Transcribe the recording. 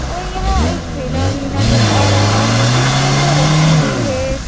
और यहां एक ठेला भी नजर आ रहा है जिस पे वह रखी हुई है।